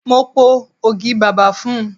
Mo po ogi bàbà fún un.